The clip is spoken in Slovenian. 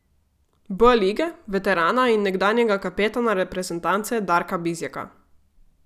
B lige, veterana in nekdanjega kapetana reprezentance Darka Bizjaka.